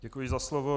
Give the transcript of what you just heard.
Děkuji za slovo.